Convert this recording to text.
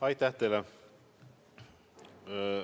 Aitäh teile!